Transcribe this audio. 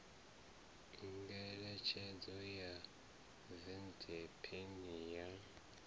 ngeletshedzo ya white paper ya